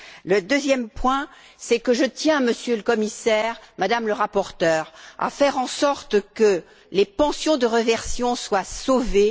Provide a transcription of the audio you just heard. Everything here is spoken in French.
Le deuxième point, c'est que je tiens, Monsieur le Commissaire, Madame la rapporteure, à faire en sorte que les pensions de réversion soient sauvées.